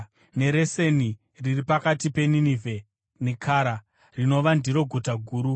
neReseni, riri pakati peNinevhe neKara; rinova ndiro guta guru.